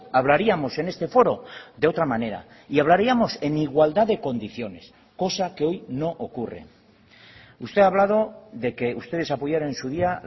hablaríamos en este foro de otra manera y hablaríamos en igualdad de condiciones cosa que hoy no ocurre usted ha hablado de que ustedes apoyaron en su día